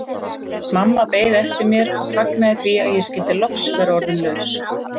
Mamma beið eftir mér og fagnaði því að ég skyldi loks vera orðin laus.